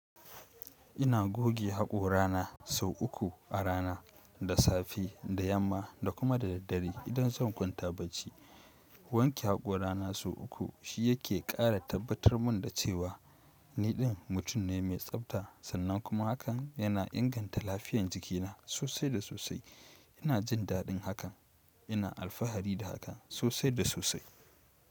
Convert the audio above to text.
Ina goge haƙora na sau uku a rana, da safe, da yamma da kuma da daddare idan zan kwanta bacci. Wanke haƙora na sau uku, shi yake ƙara tabbatar mun da cewa niɗin mutum ne mai tsabta, sannan kuma hakan yana inganta lafiyan jikina sosai da sosai. Ina jin daɗin hakan. Ina alfahari da hakan sosai da sosai.